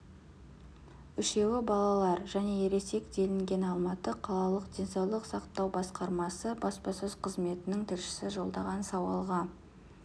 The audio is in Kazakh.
үшеуі балалар және ересек делінген алматы қалалық денсаулық сақтау басқармасы баспасөз қызметінің тілшісі жолдаған сауалға